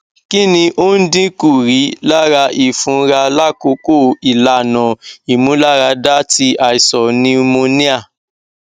kini o n dinku rilara ifunra lakoko ilana imularada ti aisan pneumonia